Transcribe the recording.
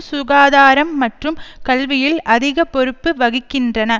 சுகாதாரம் மற்றும் கல்வியில் அதிக பொறுப்பு வகிக்கின்றன